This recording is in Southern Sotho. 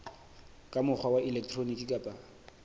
ka mokgwa wa elektroniki kapa